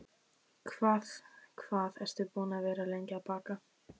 Hvað hvað ertu búin að vera lengi að baka?